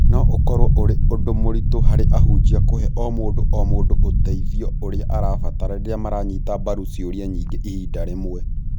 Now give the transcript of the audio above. No ũkorũo ũrĩ ũndũ mũritũ harĩ ahunjia kũhe o mũndũ o mũndũ ũteithio ũrĩa arabatara rĩrĩa maranyita mbaru ciũria nyingĩ ihinda rĩmwe.